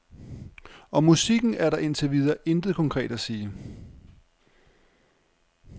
Om musikken er der indtil videre intet konkret at sige.